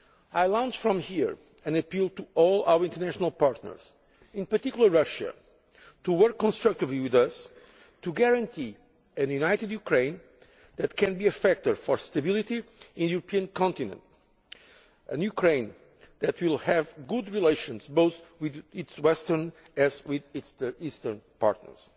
I launch from here an appeal to all our international partners, and in particular Russia, to work constructively with us to guarantee a united Ukraine that can be effective for stability in the European continent, a Ukraine that will have good relations both with its western and its eastern partners.